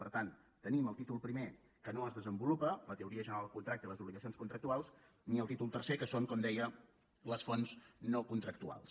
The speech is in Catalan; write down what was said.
per tant tenim el títol primer que no es desenvolupa la teoria general del contracte i les obligacions contractuals ni el títol tercer que són com deia les fonts no contractuals